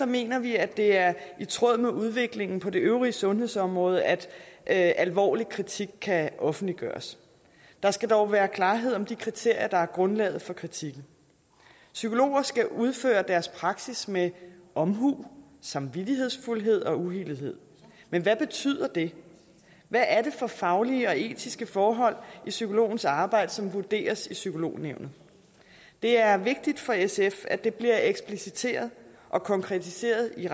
mener vi at det er i tråd med udviklingen på det øvrige sundhedsområde at at alvorlig kritik kan offentliggøres der skal dog være klarhed om de kriterier der er grundlaget for kritikken psykologer skal udføre deres praksis med omhu samvittighedsfuldhed og uvildighed men hvad betyder det hvad er det for faglige og etiske forhold i psykologens arbejde som vurderes i psykolognævnet det er vigtigt for sf at det bliver ekspliciteret og konkretiseret i